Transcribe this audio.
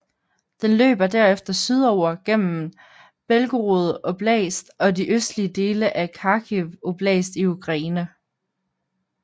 Den løber derefter sydover gennem Belgorod oblast og de østlige dele af Kharkiv oblast i Ukraine